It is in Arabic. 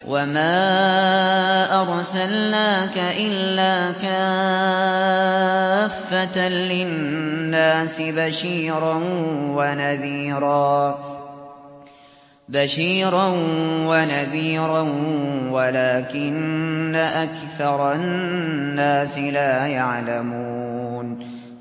وَمَا أَرْسَلْنَاكَ إِلَّا كَافَّةً لِّلنَّاسِ بَشِيرًا وَنَذِيرًا وَلَٰكِنَّ أَكْثَرَ النَّاسِ لَا يَعْلَمُونَ